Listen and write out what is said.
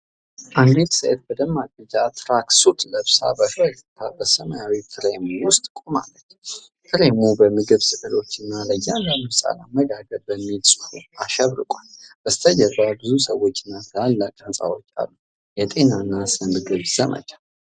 አንዲት ሴት በደማቅ ቢጫ ትራክ ሱት ለብሳ በፈገግታ በሰማያዊ ፍሬም ውስጥ ቆማለች። ፍሬሙ በምግብ ስዕሎች እና “ለእያንዳንዱ ህፃን አመጋገብ” በሚል ጽሁፍ አሸብርቋል። ከበስተጀርባ ብዙ ሰዎችና ትላልቅ ሕንፃዎች አሉ። የጤና እና ስነ ምግብ ዘመቻ።